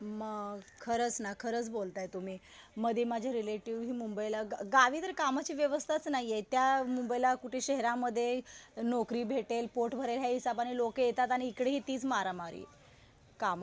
हो ना. खरंच ना. खरंच बोलताय तुम्ही. मध्ये माझे रिलेटिव्ह मुंबईला, गावी तर कामाची व्यवस्थाच नाहीये. त्या मुंबईला कुठे शहरामध्ये नोकरी भेटेल. पोट भरेल या हिसाबने लोकं येतात आणि इकडे हि तीच मारामार आहे कामाची.